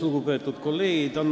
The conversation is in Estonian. Lugupeetud kolleegid!